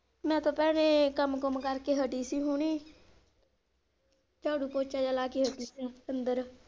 ਮੈਂ ਤਾਂ ਭੈਣੇ ਕੰਮ ਕੁੰਮ ਕਰ ਕੇ ਹੱਟੀ ਸੀ ਹੁੰਨੀ ਝਾੜੂ ਪੋਚਾ ਜੇਹਾ ਲਾ ਕੇ ਹੱਟੀ ਸੀ ਅੰਦਰ।